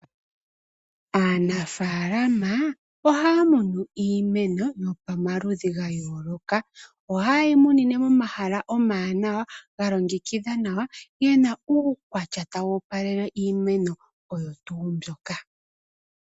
Aanafaalama ohaya munu iimeno yomaludhi gayooloka , ohayeyi munine momahala omawanawa galongekithwa nawa yena uukwatya tawu opalele iimeno oyo tuu mbyoka.